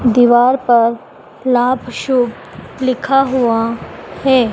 दीवार पर लाभ शुभ लिखा हुआ है।